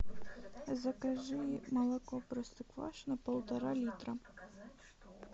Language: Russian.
закажи молоко простоквашино полтора литра